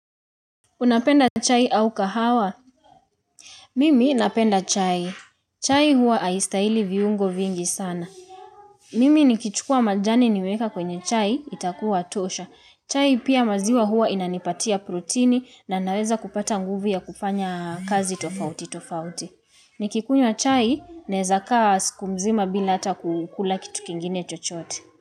Unapenda chai au kahawa? Mimi napenda chai. Chai huwa haistahili viungo vingi sana. Mimi nikichukua majani nimeweka kwenye chai, itakuwa tosha. Chai pia maziwa huwa inanipatia protini na naweza kupata nguvu ya kufanya kazi tofauti tofauti. Nikikunywa chai, naweza kaa siku mzima bila hata kukula kitu kingine chochoote.